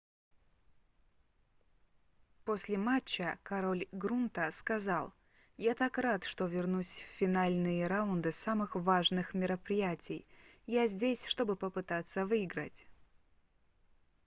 после матча король грунта сказал я так рад что вернусь в финальные раунды самых важных мероприятий я здесь чтобы попытаться выиграть